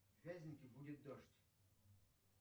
вязники будет дождь